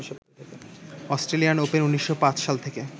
Australian Open ১৯০৫ সাল থেকে